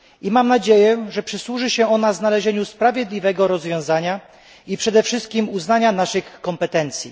Mam nadzieję, że przyczyni się ona do znalezienia sprawiedliwego rozwiązania i przede wszystkim uznania naszych kompetencji.